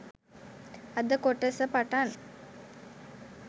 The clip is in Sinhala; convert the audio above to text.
අද කොටස පටන්